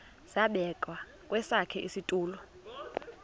zabekwa kwesakhe isitulo